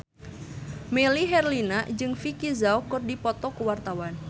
Melly Herlina jeung Vicki Zao keur dipoto ku wartawan